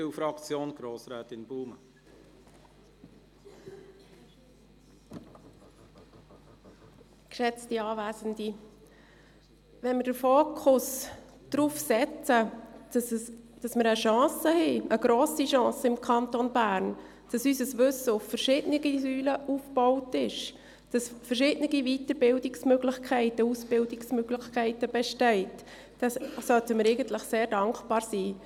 Wenn wir den Fokus darauf legen, dass wir im Kanton Bern eine grosse Chance haben, indem wir unser Wissen auf verschiedenen Säulen aufbauen und verschiedene Weiter- und Ausbildungsmöglichkeiten bestehen, sollten wir sehr dankbar sein.